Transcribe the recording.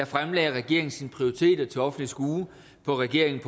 fremlagde regeringen sine prioriteter til offentligt skue på regeringendk